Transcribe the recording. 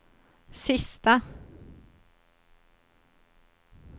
sista